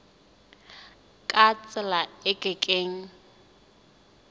ka tsela e ke keng